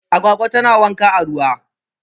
Agwagwa tana wanka a ruwa